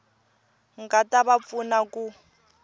nga ta va pfuna ku